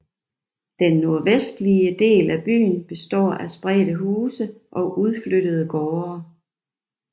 Den nordvestligste del af byen består af spredte huse og udflyttede gårde